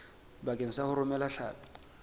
bakeng sa ho romela hlapi